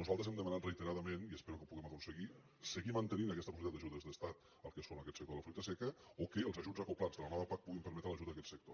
nosaltres hem demanat reiteradament i espero que ho puguem aconseguir seguir mantenint aquesta possibilitat d’ajudes de l’estat al que és aquest sector de la fruita seca o que els ajuts acoblats de la nova pac puguin permetre l’ajut a aquest sector